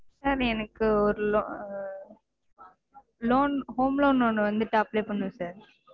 sir எனக்கு ஒரு loan home loan ஒன்னு வந்துட்டு apply பண்ணனும் sir